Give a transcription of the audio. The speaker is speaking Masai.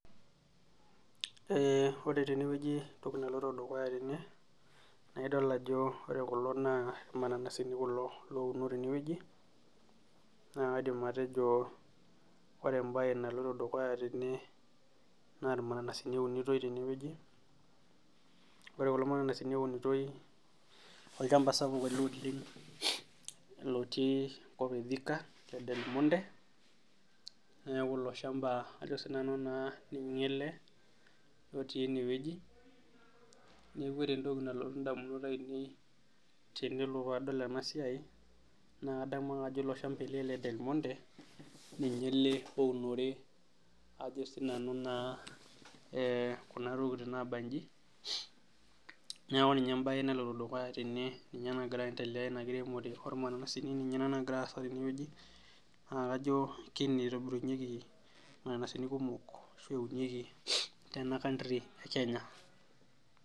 Ore teneweji entoki naloito dukuya tene naa idol ajo ore kulo naa irmananasini kulo louno teneweji ,naa kaidim atejio ore embae naloito dukuya tene naa irmananasini eunitoi teneweji ,ore kulo mananasini ounitoi ,olchampa ele sapuk oleng lotii enkop ethika edelmonte ,neeku ilo shampa ninye ele otii eneweji ,neeku ore entoki nalotu ndamunot ainei tenelo nadamu ena siai naa kadamu ake ajo ilo shampa ele ledelmonte ninye ele ounore kuna tokiting naabanji ,neeku ina embae naloito dukuya tene ninye nagira aendelea ina kiremore irmananasini ninye nagira aasa teneweji ,naa kajo kene eitobirunyeki irmananasini kumok ashu eunieki tene country ekenya.